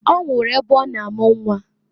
Ọ nwụrụ ebe ọ na amụ nnwa.